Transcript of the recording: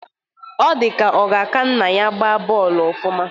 Ọ dịka ọ ga-aka nna ya gbaa bọọlụ ofụma